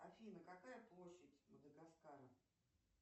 афина какая площадь мадагаскара